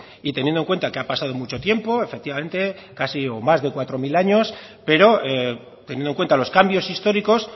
y teniendo en cuenta que ha pasado mucho tiempo efectivamente casi o más de cuatro mil años pero teniendo en cuenta los cambios históricos